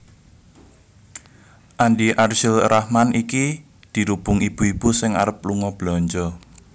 Andi Arsyil Rahman iki dirubung ibu ibu sing arep lunga belanja